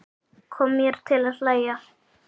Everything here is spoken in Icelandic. Kom mér til að hlæja.